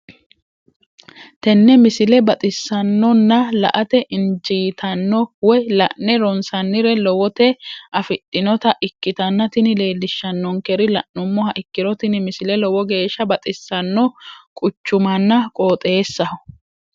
tenne misile baxisannonna la"ate injiitanno woy la'ne ronsannire lowote afidhinota ikkitanna tini leellishshannonkeri la'nummoha ikkiro tini misile lowo geeshsha baxisanno quchumanna qooxeessaho.